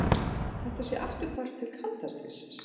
Þetta sé afturhvarf til kalda stríðsins